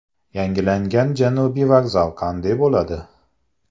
Yangilangan Janubiy vokzal qanday bo‘ladi?.